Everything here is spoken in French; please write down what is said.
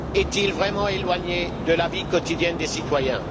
elles vraiment éloignées de la vie quotidienne des citoyens?